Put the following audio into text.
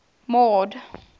mord